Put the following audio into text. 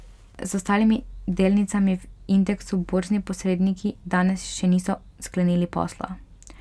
Z ostalimi delnicami v indeksu borzni posredniki danes še niso sklenili posla.